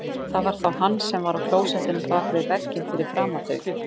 Það var þá hann sem var á klósettinu bak við vegginn fyrir framan þau.